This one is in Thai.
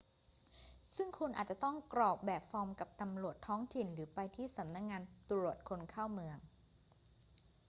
ซึ่งคุณอาจจะต้องกรอกแบบฟอร์มกับตำรวจท้องถิ่นหรือไปที่สำนักงานตรวจคนเข้าเมือง